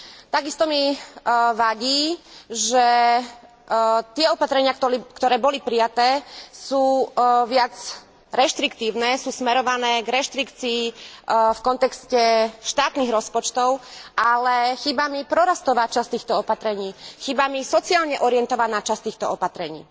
Takisto mi vadí, že tie opatrenia, ktoré boli prijaté, sú viac reštriktívne, sú smerované k reštrikcii v kontexte štátnych rozpočtov, ale chýba mi prorastová časť týchto opatrení, chýba mi sociálne orientovaná časť týchto opatrení.